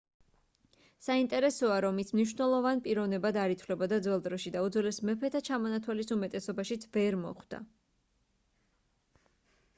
საინტერესოა რომ ის მნიშვნელოვან პიროვნებად არ ითვლებოდა ძველ დროში და უძველეს მეფეთა ჩამონთვალის უმეტესობაშიც ვერ მოხვდა